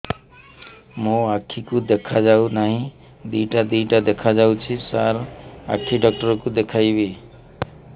ମୋ ଆଖିକୁ ଦେଖା ଯାଉ ନାହିଁ ଦିଇଟା ଦିଇଟା ଦେଖା ଯାଉଛି ସାର୍ ଆଖି ଡକ୍ଟର କୁ ଦେଖାଇବି